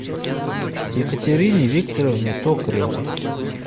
екатерине викторовне токаревой